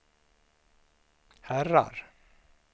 herrar